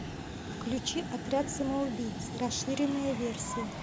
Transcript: включи отряд самоубийц расширенная версия